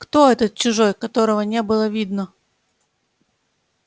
кто этот чужой которого не было видно